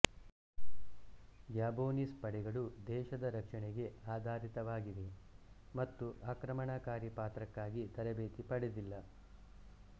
Gabonese ಪಡೆಗಳು ದೇಶದ ರಕ್ಷಣೆಗೆ ಆಧಾರಿತವಾಗಿವೆ ಮತ್ತು ಆಕ್ರಮಣಕಾರಿ ಪಾತ್ರಕ್ಕಾಗಿ ತರಬೇತಿ ಪಡೆದಿಲ್ಲ